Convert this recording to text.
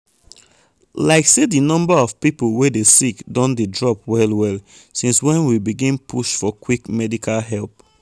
like say di number of people wey dey sick don dey drop well well since when we begin push for quick medical help.